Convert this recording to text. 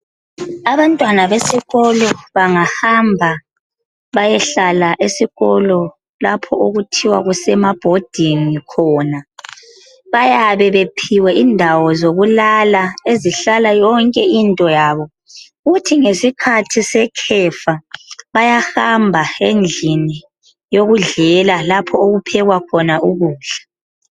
Abantwana besikolo bangahamba beyehlala esikolo lapho okuthiwa kusemabhodingi khona bayabe bephiwe indawo zokulala ezihlahla yonke into yabo kuthi ngesikhathi sekhefa bayahamba endlini yokudlela lapho okuphekwa khona ukudla